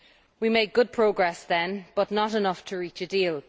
We made good progress then, but not enough to reach a deal.